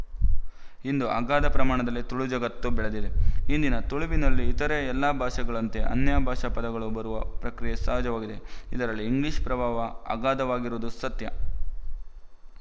ಇಂದು ಅಗಾಧ ಪ್ರಮಾಣದಲ್ಲಿ ತುಳುಜಗತ್ತು ಬೆಳೆದಿದೆ ಇಂದಿನ ತುಳುವಿನಲ್ಲಿ ಇತರ ಎಲ್ಲಾ ಭಾಷೆಗಳಂತೆ ಅನ್ಯ ಭಾಷಾ ಪದಗಳು ಬರುವ ಪ್ರಕ್ರಿಯೆ ಸಹಜವಾಗಿದೆ ಇದರಲ್ಲಿ ಇಂಗ್ಲಿಶ ಪ್ರಭಾವ ಅಗಾಧವಾಗಿರುವುದು ಸತ್ಯ